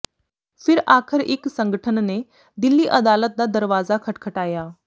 ਫਿਰ ਆਖ਼ਰ ਇਕ ਸੰਗਠਨ ਨੇ ਦਿੱਲੀ ਅਦਾਲਤ ਦਾ ਦਰਵਾਜ਼ਾ ਖਟਖਟਾਇਆ